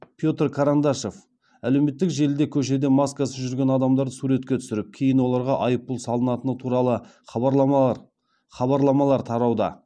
петр карандашов әлеуметтік желіде көшеде маскасыз жүрген адамдарды суретке түсіріп кейін оларға айыппұл салынатыны туралы хабарламалар тарауда